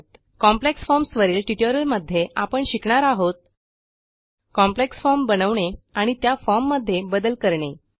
complex forms वरील ट्युटोरियलमध्ये आपण शिकणार आहोत कॉम्प्लेक्स फॉर्म बनवणे आणि त्या फॉर्म मध्ये बदल करणे